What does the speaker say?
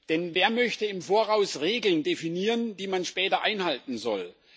Denn wer möchte im Voraus Regeln definieren, die man später einhalten soll?